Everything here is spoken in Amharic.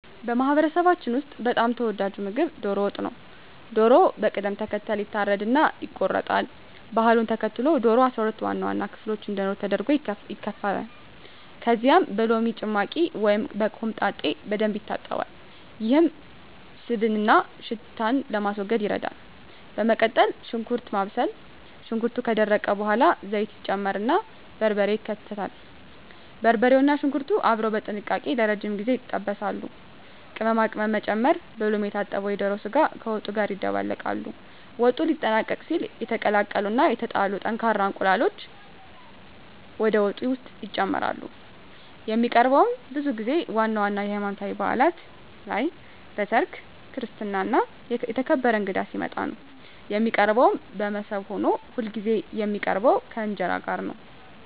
በማህበረሰባችን ውስጥ በጣም ተወዳጁ ምግብ ዶሮ ወጥ ነው። ዶሮው በቅደም ተከተል ይታረድና ይቆረጣል። ባህሉን ተከትሎ ዶሮው 12 ዋና ዋና ክፍሎች እንዲኖሩት ተደርጎ ይከተፋል። ከዚያም በሎሚ ጭማቂ ወይም በኮምጣጤ በደንብ ይታጠባል፤ ይህም ስብንና ሽታን ለማስወገድ ይረዳል። በመቀጠል ሽንኩርት ማብሰል፣ ሽንኩርቱ ከደረቀ በኋላ ዘይት ይጨመርና በርበሬ ይከተላል። በርበሬውና ሽንኩርቱ አብረው በጥንቃቄ ለረጅም ጊዜ ይጠበሳሉ። ቅመማ ቅመም መጨመር፣ በሎሚ የታጠበው የዶሮ ስጋ ከወጡ ጋር ይደባለቃል። ወጡ ሊጠናቀቅ ሲል የተቀቀሉ እና የተላጡ ጠንካራ እንቁላሎች ወደ ወጡ ውስጥ ይጨመራሉ። የሚቀርበውም ብዙ ጊዜ ዋና ዋና የሀይማኖታዊ ባእላት ላይ፣ በሰርግ፣ በክርስትና እና የተከበረ እንግዳ ሲመጣ ነው። የሚቀርበውም በሞሰብ ሆኖ ሁልጊዜ የሚቀርበው ከእንጀራ ጋር ነው።